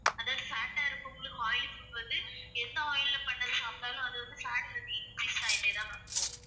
அதாவது fat ஆ இருக்கவங்களுக்கு oil food வந்து எந்த oil ல பண்ணது சாப்பிட்டாலும் அது வந்து fat வந்து increase ஆயிட்டே தான் போகும்.